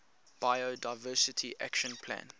biodiversity action plan